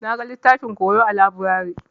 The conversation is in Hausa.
Na gan littafin koyo a laburare.